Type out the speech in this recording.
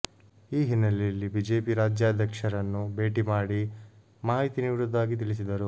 ಈ ಹಿನ್ನೆಲೆಯಲ್ಲಿ ಬಿಜೆಪಿ ರಾಜ್ಯಾಧ್ಯಕ್ಷರನ್ನು ಭೇಟಿ ಮಾಡಿ ಮಾಹಿತಿ ನೀಡುವುದಾಗಿ ತಿಳಿಸಿದರು